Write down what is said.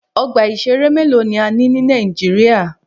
Ọgbà ìṣẹ̀rẹ́ mélòó ni a ní ní Nàíjíríà.